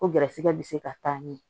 Ko garisigɛ bi se ka taa ɲɛ